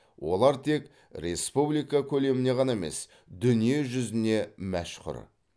олар тек республика көлеміне ғана емес дүние жүзіне мәшһүр